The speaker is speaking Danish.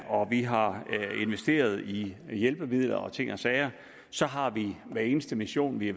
om vi har investeret i hjælpemidler og ting og sager så har vi i hver eneste mission vi